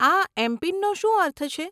આ એમપીન નો શું અર્થ છે?